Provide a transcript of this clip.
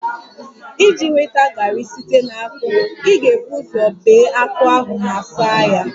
Iji nweta garri site na akpu, ị ga-ebu ụzọ bee akpu ahụ ma saa ya